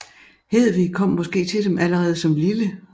Hedvig kom måske til dem allerede som lille